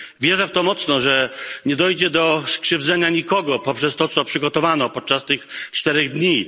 Wierzę w to mocno, że nie dojdzie do skrzywdzenia nikogo poprzez to, co przygotowano podczas tych czterech dni.